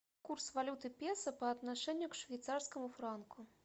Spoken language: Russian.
курс валюты песо по отношению к швейцарскому франку